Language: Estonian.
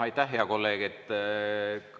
Aitäh, hea kolleeg!